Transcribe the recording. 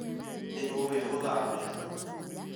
Nĩ ũĩ gũthambĩra?